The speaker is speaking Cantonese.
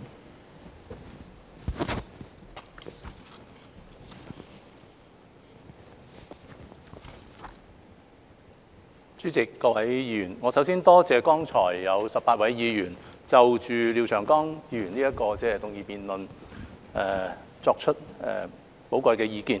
代理主席、各位議員，我首先感謝剛才有18位議員就廖長江議員的議案提出寶貴意見，